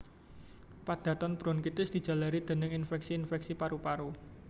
Padatan bronkitis dijalari dèning infèksi infèksi paru paru